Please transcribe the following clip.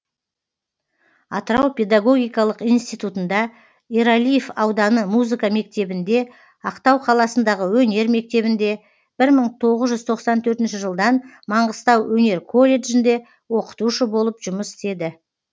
атырау педогогикалық институтында ералиев ауданы музыка мектебінде ақтау қаласындағы өнер мектебінде бір мың тоғыз жүүз тоқсан төртінші жылдан маңғыстау өнер колледжінде оқытушы болып жұмыс істеді